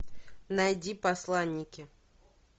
найди посланники